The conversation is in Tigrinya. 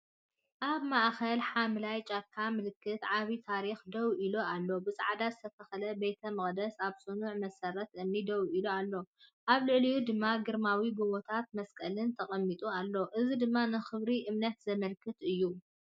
ኣብ ማእከል ሓምላይ ጫካ ምልክት ዓቢ ታሪኽ ደው ኢሉ ኣሎ። ብጻዕዳ ዝተለኽየ ቤተ መቕደስ ኣብ ጽኑዕ መሰረት እምኒ ደው ኢሉ ኣሎ፣ ኣብ ልዕሊኡ ድማ ግርማዊ ጎቦን መስቀልን ተቐሚጡ ኣሎ፣ እዚ ድማ ንኽብሪ እምነት ዘመልክት እዩ።